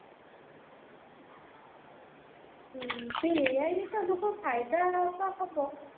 ହୁଁ ସେ ai ରେ ତମକୁ ଫାଇଦା ତ ହବ